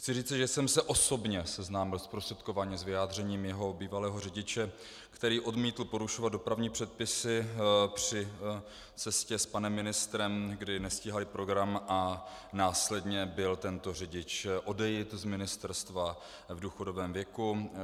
Chci říci, že jsem se osobně seznámil zprostředkovaně s vyjádřením jeho bývalého řidiče, který odmítl porušovat dopravní předpisy při cestě s panem ministrem, kdy nestíhali program, a následně byl tento řidič odejit z ministerstva v důchodovém věku.